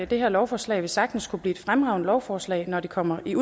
det her lovforslag vil sagtens kunne blive et fremragende lovforslag når det kommer i